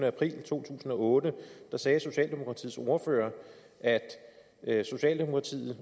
april to tusind og otte sagde socialdemokratiets ordfører at socialdemokratiet